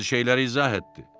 Bəzi şeyləri izah etdi.